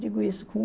Digo isso com...